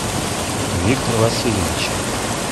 виктор васильевич